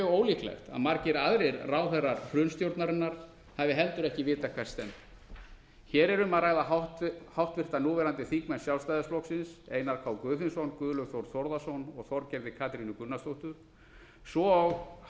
ólíklegt að margir aðrir ráðherrar hrunstjórnarinnar hafi heldur ekki vitað hvert stefndi hér er um að ræða háttvirts núverandi þingmenn sjálfstæðisflokksins einar k guðfinnsson guðlaug þór þórðarson og þorgerðar katrínu gunnarsdóttur svo